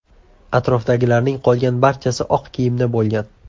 Atrofdagilarning qolgan barchasi oq kiyimda bo‘lgan.